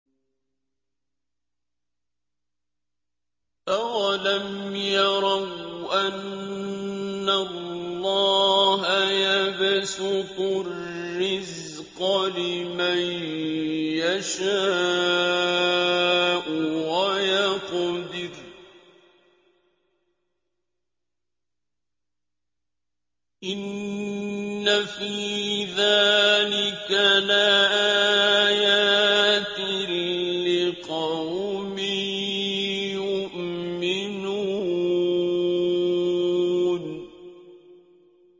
أَوَلَمْ يَرَوْا أَنَّ اللَّهَ يَبْسُطُ الرِّزْقَ لِمَن يَشَاءُ وَيَقْدِرُ ۚ إِنَّ فِي ذَٰلِكَ لَآيَاتٍ لِّقَوْمٍ يُؤْمِنُونَ